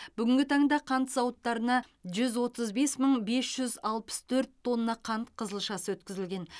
бүгінгі таңда қант зауыттарына жүз отыз бес мың бес жүз алпыс төрт тонна қант қызылшасы өткізілген